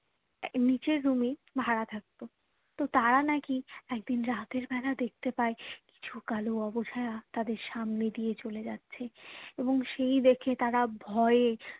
নিচের room এই ভাড়া থাকতো তো তারা নাকি একদিন রাতের বেলা দেখতে পায়ে কিছু কালো আবছায়া তাদের সামনে দিয়ে চলে যাচ্ছে এবং সেই দেখে তারা ভয়ে